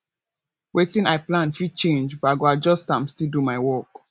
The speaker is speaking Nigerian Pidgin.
wetin i plan fit change but i go adjust am still do my work